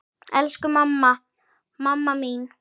Elsku mamma, mamma mín.